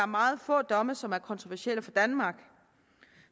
meget få domme som er kontroversielle for danmark